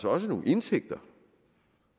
også nogle indtægter